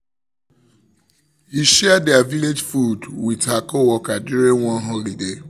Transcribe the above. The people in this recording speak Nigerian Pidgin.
he share der village food with her coworker during one holiday celebration